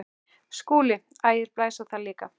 SKÚLI: Ægir blæs á það líka.